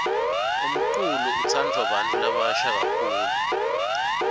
umculo utsandvwa bantfu labasha kakhulu